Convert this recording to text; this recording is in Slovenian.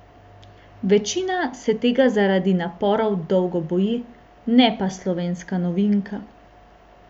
Večina se tega zaradi naporov dolgo boji, ne pa slovenska novinka.